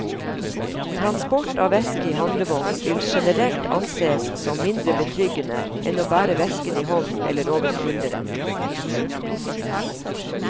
Transport av veske i handlevogn vil generelt ansees som mindre betryggende enn å bære vesken i hånden eller over skulderen.